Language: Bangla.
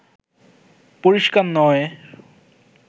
পরিস্কার নয়